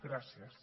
gràcies